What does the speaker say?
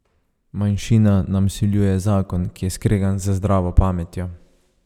Manjšina nam vsiljuje zakon, ki je skregan z zdravo pametjo.